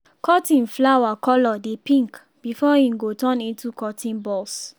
cotton flower colour dey pink before im go turn into cotton bolls.